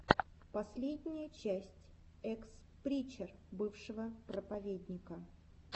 последняя часть экс причер бывшего проповедника